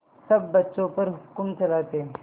सब बच्चों पर हुक्म चलाते